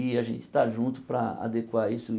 E a gente estar junto para adequar isso.